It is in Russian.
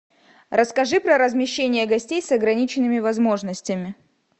расскажи про размещение гостей с ограниченными возможностями